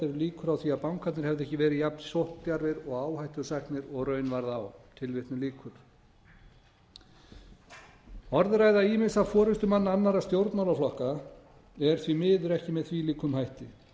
líkur á því að bankarnir hefðu ekki verið jafn sókndjarfir og áhættusæknir og raun varð á orðræða ýmissa forustumanna annarra stjórnmálaflokka er því miður ekki með þvílíkum hætti